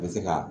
Bɛ se ka